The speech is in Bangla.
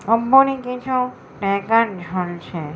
আম্বানির কিছু ট্যাকার ঝুলছে